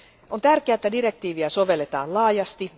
On tärkeää, että direktiiviä sovelletaan laajasti.